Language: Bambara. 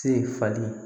Se falen